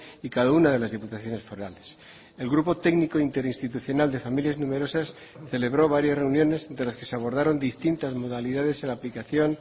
y cada una de las diputaciones forales el grupo técnico interinstitucional de familias numerosas celebró varias reuniones de las que se abordaron distintas modalidades en la aplicación